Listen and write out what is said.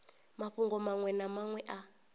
mafhungo maṅwe na maṅwe a